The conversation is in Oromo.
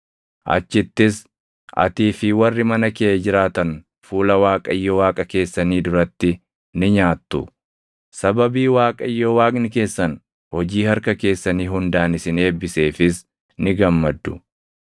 Achittis atii fi warri mana kee jiraatan fuula Waaqayyo Waaqa keessanii duratti ni nyaattu; sababii Waaqayyo Waaqni keessan hojii harka keessanii hundaan isin eebbiseefis ni gammaddu.